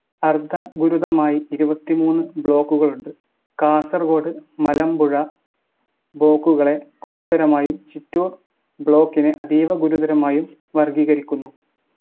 അർധ ഗുരുതരമായി ഇരുപത്തിമൂന്ന് block കളുണ്ട്. കാസർഗോഡ് മലമ്പുഴ block കളെ ഗുരുതരമായും ചിറ്റൂർ block നെ അതീവ ഗുരുതരമായും വർഗ്ഗീകരിക്കുന്നു.